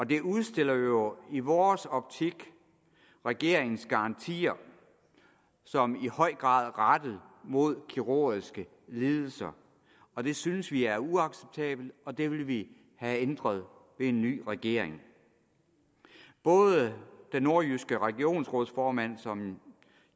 det udstiller jo i vores optik regeringens garantier som i høj grad rettet mod kirurgiske lidelser og det synes vi er uacceptabelt og det vil vi have ændret af en ny regering både den nordjyske regionsrådsformand som